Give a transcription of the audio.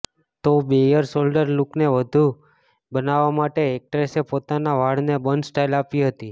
તો bare shoulder લૂકને વધુ સેક્સી બનાવવા માટે એક્ટ્રેસે પોતાના વાળને બન સ્ટાઈલ આપી હતી